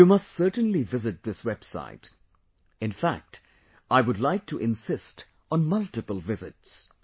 You must certainly visit this website... infact, I would like to insist on multiple visits